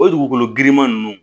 O dugukolo giriman nunnu